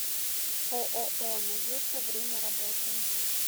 ооо надежда время работы